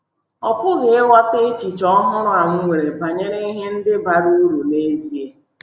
Ọ pụghị ịghọta echiche ọhụrụ a m nwere banyere ihe ndị bara uru n’ezie.